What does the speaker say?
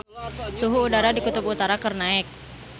Suhu udara di Kutub Utara keur naek